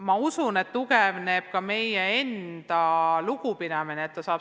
Ma usun, et tugevneb ka meie endi lugupidamine selle asutuse vastu.